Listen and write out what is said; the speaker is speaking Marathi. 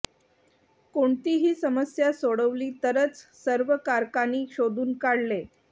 कोणतीही समस्या सोडवली तरच सर्व कारकांनी शोधून काढले